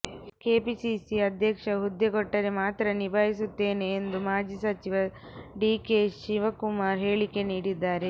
KPCC ಅಧ್ಯಕ್ಷ ಹುದ್ದೆ ಕೊಟ್ಟರೆ ಮಾತ್ರ ನಿಭಾಯಿಸುತ್ತೇನೆ ಎಂದು ಮಾಜಿ ಸಚಿವ ಡಿ ಕೆ ಶಿವಕುಮಾರ್ ಹೇಳಿಕೆ ನೀಡಿದ್ದಾರೆ